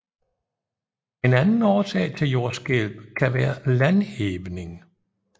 En anden årsag til jordskælv kan være landhævning